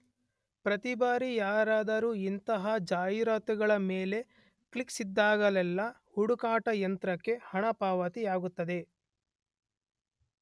ಪ್ರತಿಬಾರಿ ಯಾರಾದರೂ ಇಂತಹ ಜಾಹೀರಾತುಗಳ ಮೇಲೆ ಕ್ಲಿಕ್ಕಿಸಿದಾಗಲೆಲ್ಲ ಹುಡುಕಾಟ ಯಂತ್ರಕ್ಕೆ ಹಣಪಾವತಿಯಾಗುತ್ತದೆ.